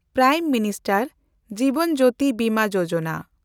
prime minister Jeevan Jyoti Bima Yojana